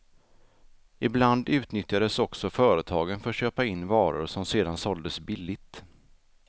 Ibland utnyttjades också företagen för att köpa in varor som sedan såldes billigt.